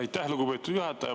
Aitäh, lugupeetud juhataja!